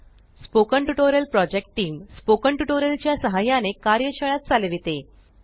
spoken tutorial project team spoken tutorial च्या सहाय्याने कार्यशाळा चालविते